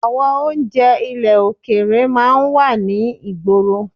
Àwọn oúnjẹ ilẹ̀ òkèrè máa ń wà ní ìgboro